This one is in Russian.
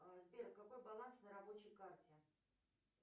сбер какой баланс на рабочей карте